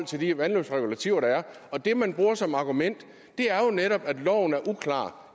til de vandløbsregulativer der er og det man bruger som argument er jo netop at loven er uklar